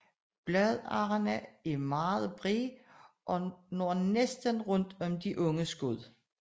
Bladarrene er meget brede og når næsten rundt om de unge skud